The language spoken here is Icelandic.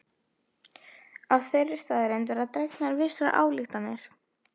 Af þeirri staðreynd verða dregnar vissar ályktanir.